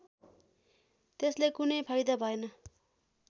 त्यसले कुनै फाइदा भएन